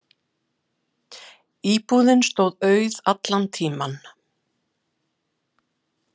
Íbúðin stóð auð allan tímann.